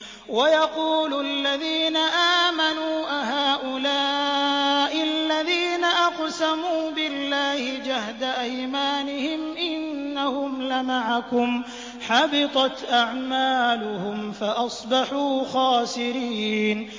وَيَقُولُ الَّذِينَ آمَنُوا أَهَٰؤُلَاءِ الَّذِينَ أَقْسَمُوا بِاللَّهِ جَهْدَ أَيْمَانِهِمْ ۙ إِنَّهُمْ لَمَعَكُمْ ۚ حَبِطَتْ أَعْمَالُهُمْ فَأَصْبَحُوا خَاسِرِينَ